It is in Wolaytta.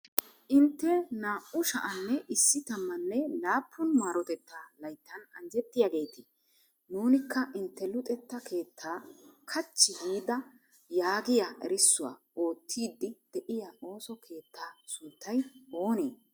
'Intte naa"u sha'anne issi tammanne laappun maarotetta layttan anjjetiyaageete!' Nuunikka intte luxetta keettaa kachchi giida yaagiyaa erissuwaa oottiddi de'iya ooso keettaa sunttay oonee?